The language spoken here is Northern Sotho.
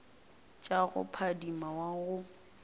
tša go phadima wa go